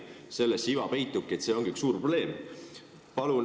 Selles iva peitubki, et see on üks suur probleem.